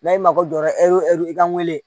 N'a ye mago jɔra e re i ka wele